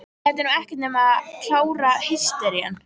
Þetta er nú ekkert nema klára hystería!